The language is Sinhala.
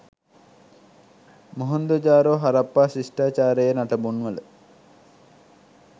මොහෙන්දජාරෝ හරප්පා ශිෂ්ඨාචාරයේ නටබුන්වල